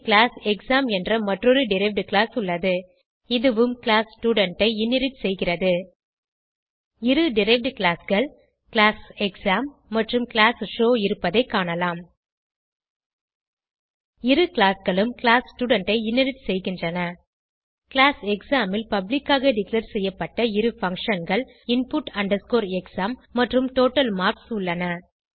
பின் class exam என்ற மற்றொரு derived class உள்ளது இதுவும் கிளாஸ் ஸ்டூடென்ட் ஐ இன்ஹெரிட் செய்கிறது இரு டெரைவ்ட் classகள் கிளாஸ் எக்ஸாம் மற்றும் கிளாஸ் ஷோவ் இருப்பதைக் காணலாம் இரு classகளும் கிளாஸ் ஸ்டூடென்ட் ஐ இன்ஹெரிட் செய்கின்றன கிளாஸ் எக்ஸாம் ல் பப்ளிக் ஆக டிக்ளேர் செய்யப்பட்ட இரு functionகள் input exam மற்றும் டோட்டல் மார்க்ஸ் உள்ளன